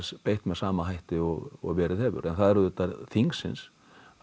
beitt með sama hætti og og verið hefur en það er auðvitað þingsins